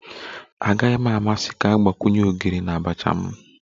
Agaghị m amasị ka a gbakwunye ogiri na abacha m